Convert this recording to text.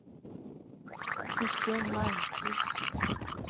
Kristin Malmqvist